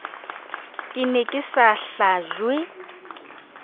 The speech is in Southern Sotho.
ke ne ke sa hlajwe